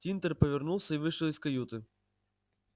тинтер повернулся и вышел из каюты